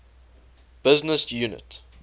business unit